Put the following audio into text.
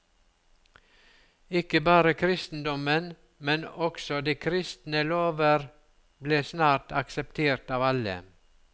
Ikke bare kristendommen, men også de kristne lover ble snart akseptert av alle.